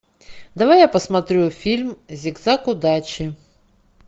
давай я посмотрю фильм зигзаг удачи